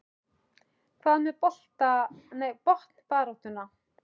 Hvað með botnbaráttuna?